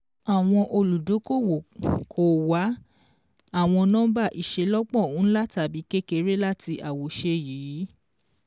Àwọn olùdókòwò kò wá àwọn nọ́mbà ìṣelọ́pọ̀ ńlá tàbí kékeré láti àwòṣe yìí